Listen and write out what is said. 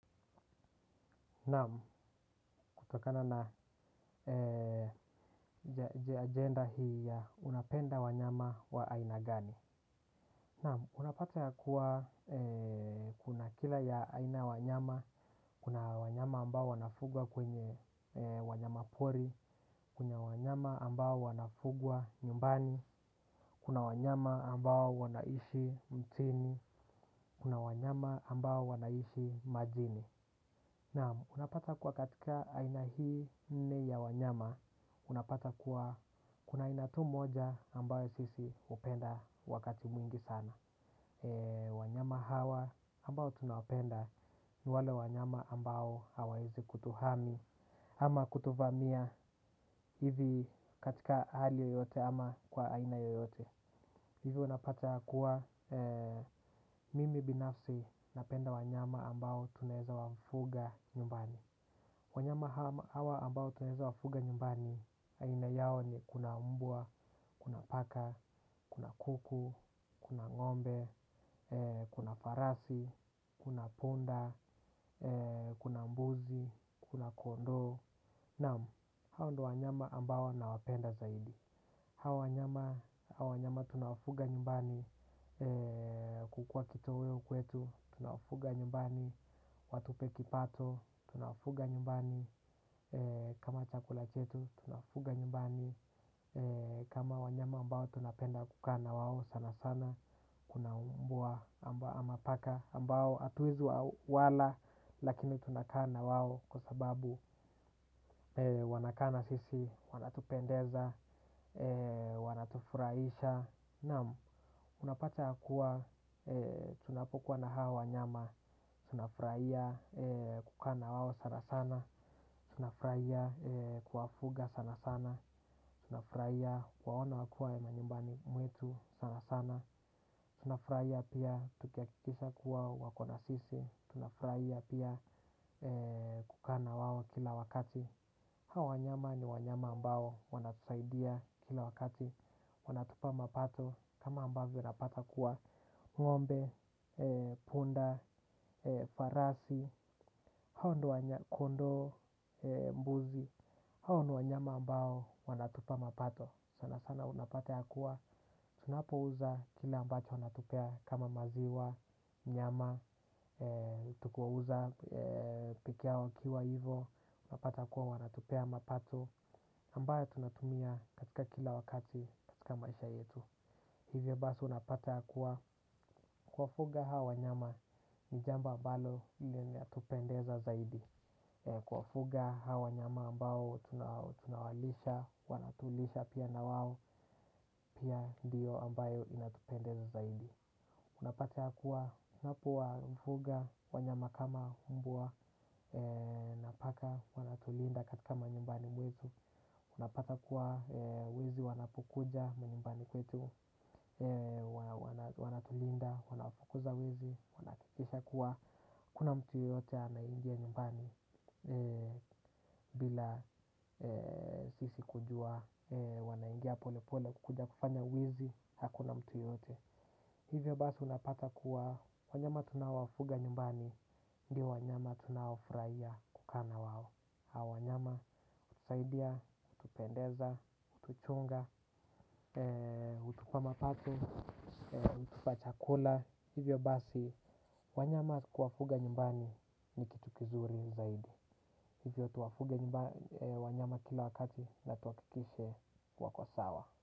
Naam kutokana na agenda hii ya unapenda wanyama wa aina gani. Naam unapata ya kuwa kuna kila ya aina wanyama, kuna wanyama ambao wanafugwa kwenye wanyama pori, kuna wanyama ambao wanafugwa nyumbani, kuna wanyama ambao wanaishi mtini, kuna wanyama ambao wanaishi majini. Naam unapata kuwa katika aina hii nneya wanyama, unapata kuwa kuna ainatu moja ambayo sisi hupenda wakati mwingi sana. Wanyama hawa ambao tunawapenda ni wale wanyama ambao hawawezi kutuhami ama kutuvamia hivi katika hali yoyote ama kwa aina yoyote. Hivi unapata yakuwa mimi binafsi na penda wanyama ambao tunaweza wafuga nyumbani. Wanyama hawa ambao tunaweza wafuga nyumbani, aina yao ni kuna mbwa, kuna paka, kuna kuku, kuna ngombe, kuna farasi, kuna punda, kuna mbuzi, kuna kondoo. Naam hao ndo wa nyama ambao na wapenda zaidi. Hawawanyama, hawawanyama tunawafuga nyumbani kukua kito weo kwetu, tunawafuga nyumbani, watupe kipato, tunawafuga nyumbani, kama chakula chetu, tunawafuga nyumbani, kuna wanyama ambao tunapenda kukaana wao sana sana, kunambwa ama paka ambao atuwezi wala, lakini tunakaana wao kwasababu wanakaana sisi, wanatupendeza, Wanatufurahisha. Naam, unapata yakuwa tunapokuwa na hawa wanyama tunafurahiya kukaana wao sana sana. Tunafurahiya kuwafuga sana sana. Tunafurahiya kuwaona wakiwa manyumbani mwetu sana sana. Tunafurahiya pia tukihakikisha kuwa wakona sisi. Tunafurahiya pia kukaana wao kila wakati. Hawawanyama ni wanyama ambao wanatusaidia kila wakati. Wanatupa mapato kama ambavyo napata kuwa ng'ombe, punda, farasi, kondoo, mbuzi. Haoniwanyama ambao wanatupa mapato sana sana unapata ya kuwa tunapo uza kile ambacho wanatupea kama maziwa, nyama, tukiwa uza pikia wakiwa hivo unapata kuwa wanatupea mapato ambaye tunatumia katika kila wakati katika maisha yetu. Hivyo basi unapata yakuwa kuwa fuga hawa wanyama ni jambo ambalo li natupendeza zaidi. Kuwa fuga hawa wanyama ambao tunawalisha wanatulisha pia na wao pia ndiyo ambayo inatupendeza zaidi. Unapata yakuwa unapowa fuga wanyama kama mbwa napaka wanatulinda katika manyumbani mwetu. Unapata kuwa wezi wanapokuja manyumbani kwetu, wanatulinda, wanafukuza wezi, wanahakikisha kuwa. Hakuna mtu yoyote anayeingia nyumbani bila sisi kujua, wanaingia pole pole kukuja kufanya wizi, hakuna mtu yoyote. Hivyo basi unapata kuwa wanyama tunaowafuga nyumbani, ndio wanyama tunaofurahia kukaana wao. Haowanyama, hutusaidia, hutupendeza, hutuchonga, hutupama pato, hutupa chakula. Hivyo basi, wanyama kuwafuga nyumbani ni kitukizuri zaidi. Hivyo tuwafuge wanyama kila wakati na tuhakikishe wakosawa.